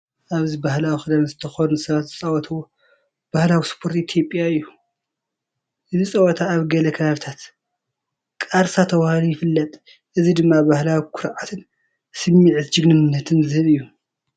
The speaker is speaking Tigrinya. ኣብዚ ባህላዊ ክዳን ዝተኸድኑ ሰባት ዝጻወትዎ ባህላዊ ስፖርት ኢትዮጵያ እዩ። እዚ ጸወታ ኣብ ገለ ከባቢታት "ቃርሳ"ተባሂሉ ይፍለጥ። እዚ ድማ ባህላዊ ኩርዓትን ስምዒት ጅግንነትን ዝህብ እዩ።